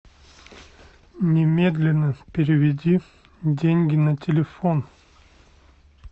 немедленно переведи деньги на телефон